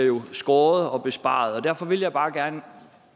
skåret ned og besparet og derfor vil jeg bare gerne